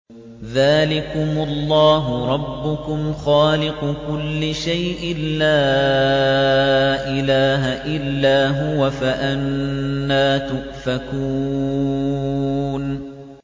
ذَٰلِكُمُ اللَّهُ رَبُّكُمْ خَالِقُ كُلِّ شَيْءٍ لَّا إِلَٰهَ إِلَّا هُوَ ۖ فَأَنَّىٰ تُؤْفَكُونَ